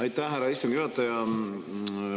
Aitäh, härra istungi juhataja!